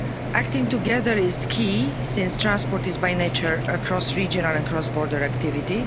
Acting together is key, since transport is by nature a cross regional and cross border activity.